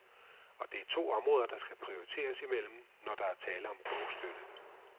Og det er to områder, der skal prioriteres imellem, når der er tale om bogstøtte.